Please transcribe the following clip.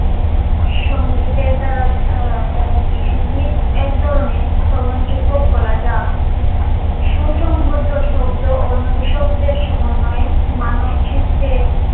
সঙ্গীতের দ্বারা গীত এক ধরণের শ্রবন যোগ্য কলা যা সুসংবদ্ধ শব্দ ও নৈশব্দের সমন্বয় মানব চিত্রে